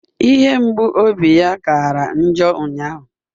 Ihe mgbu obi ya kara njọ ụnyahụ